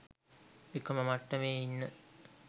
එකම මට්ටමේ ඉන්න